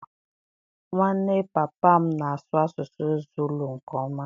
Nwanne papa m na-asụ asụsụ Zulu nke ọma.